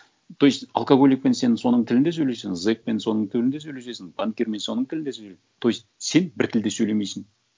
то есть алкоголикпен сен соның тілінде сөйлесең зекпен соның тілінде сөлесесің банкирмен соның тілінде сойлеп то есть сен бір тілде сөйлемейсің